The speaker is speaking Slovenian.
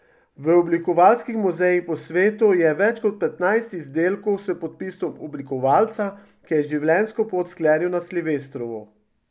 V oblikovalskih muzejih po svetu je več kot petnajst izdelkov s podpisom oblikovalca, ki je življenjsko pot sklenil na silvestrovo.